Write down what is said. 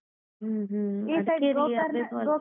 ಹ್ಮ್‌ ಹ್ಮ್‌ .